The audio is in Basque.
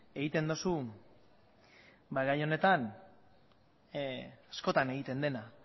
egiten duzu gai honetan askotan egiten dena